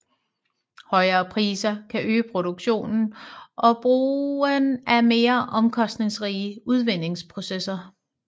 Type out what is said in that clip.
Højere priser kan øge produktionen og brugen af mere omkostningsrige udvindingsprocesser